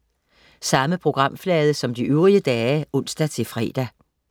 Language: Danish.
Samme programflade som de øvrige dage (ons-fre)